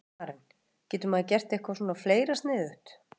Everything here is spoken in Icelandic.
Karen: Getur maður gert eitthvað svona fleira sniðugt?